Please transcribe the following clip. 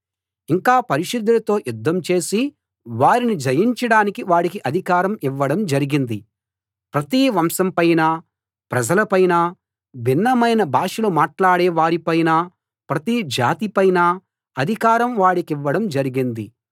ఇంకా పరిశుద్ధులతో యుద్ధం చేసి వారిని జయించడానికి వాడికి అధికారం ఇవ్వడం జరిగింది ప్రతి వంశం పైనా ప్రజల పైనా భిన్నమైన భాషలు మాట్లాడే వారిపైనా ప్రతి జాతి పైనా అధికారం వాడికివ్వడం జరిగింది